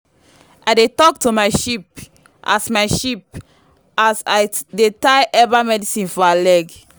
i dey talk to my sheep as my sheep as i dey tie herbal medicine for her leg.